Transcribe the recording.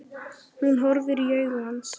Hún horfir í augu hans.